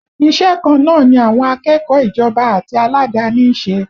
Iṣẹ́ kan náà ni àwọn akẹ́kọ̀ọ́ ìjọba àti aládàáni ń ṣe